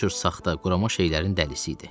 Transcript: Bu cür saxta, qurama şeylərin dəlisi idi.